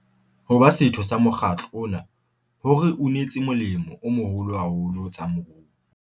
Ho ba setho sa mokgatlo ona ho re unetse molemo o moholo haholo ho tsa moruo.